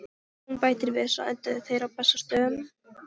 Hún bætir við: Svo enduðu þeir á Bessastöðum